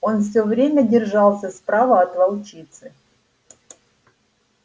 он всё время держался справа от волчицы